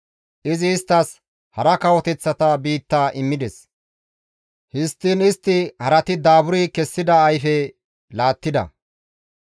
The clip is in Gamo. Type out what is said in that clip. Izi isttas hara kawoteththata biitta immides; histtiin istti harati daaburi kessida kaththa ayfe laattida.